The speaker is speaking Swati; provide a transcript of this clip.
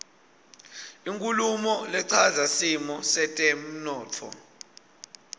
inkhulumo lechaza simo setemntfo